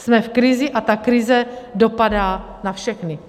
Jsme v krizi, a ta krize dopadá na všechny.